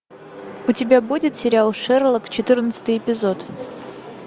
у тебя будет сериал шерлок четырнадцатый эпизод